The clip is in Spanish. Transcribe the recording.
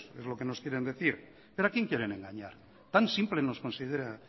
es lo que nos quieren decir pero a quién quieren engañar tan simple nos considera